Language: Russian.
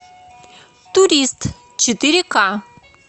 турист четыре ка